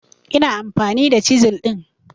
Ina amfani da chisel din